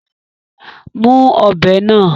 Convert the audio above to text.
Mú ọ̀bẹ náà!